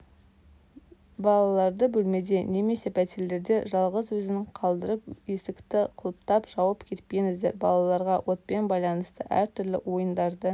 балаларды бөлмеде немесе пәтерледе жалғыз өзін қалтырып есікті құлыптап жауып кетпеңіздер балаларға отпен байланысты әр-түрлі ойындарды